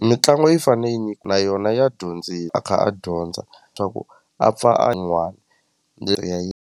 Mitlangu yi fanele yi na yona ya a kha a dyondza swa ku a pfa a yin'wani .